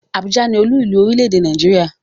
Abuja ni oluilu orile-ede Naijiria